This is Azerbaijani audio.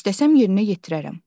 İstəsəm yerinə yetirərəm.